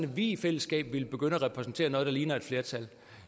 vi i fællesskab ville begynde at repræsentere noget der ligner et flertal